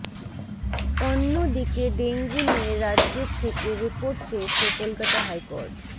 অন্য়দিকে dengue নিয়ে রাজ্য়ের থেকে রিপোর্ট চেয়েছে কলকাতা হাইকোর্ট